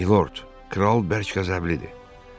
Mivort, kral bərk qəzəblidir.